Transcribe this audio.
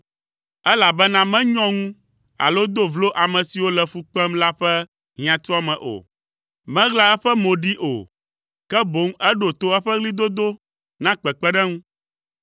Elabena menyɔ ŋu alo do vlo ame siwo le fu kpem la ƒe hiãtuame o; meɣla eƒe mo ɖee o, ke boŋ eɖo to eƒe ɣlidodo na kpekpeɖeŋu.